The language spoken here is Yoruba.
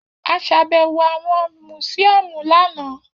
A ṣàbẹwò awọn musiọmu lana.